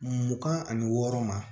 Mugan ani wɔɔrɔ ma